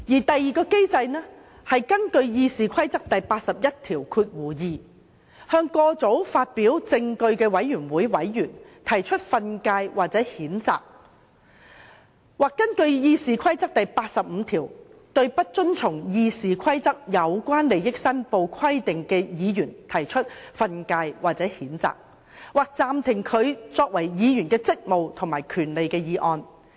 第二個機制是根據《議事規則》第812條，向過早發表證據的委員會委員提出訓誡或譴責；或根據《議事規則》第85條，對不遵從《議事規則》有關利益申報規定的議員，可藉訓誡或譴責，或暫停其議員職務或權利的議案加以處分。